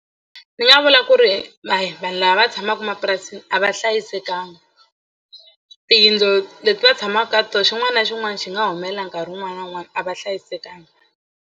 Ni nga vula ku ri hayi vanhu lava va tshamaka emapurasini a va hlayisekanga tiyindlu leti va tshamaka ka tona xin'wana na xin'wana xi nga humelela nkarhi wun'wana na wun'wana a va hlayisekanga.